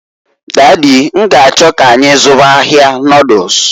Daddy, n'g'achọ k'anyị zụwa ahịa noduls.